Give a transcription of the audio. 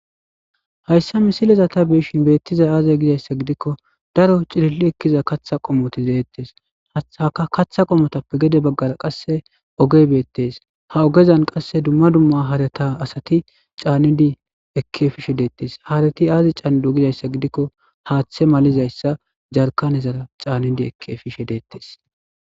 Hayisa misileza ta beishin beettiza aaze gizayssa gidikko daro cililli ekkiza katha qomoti zeettes aka katha qomotappe gede baggara qasse ogeybeettees ha ogezan qasse dumma dumma haarata asati caanidi ekke fishe deettes haarati aazi caanidu gizayssa gidikko haaththe malizayssa jarkanezara caanidi ekke fishe deettes